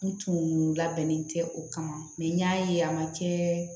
N tun labɛnnen tɛ o kama n y'a ye a man kɛ